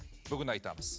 бүгін айтамыз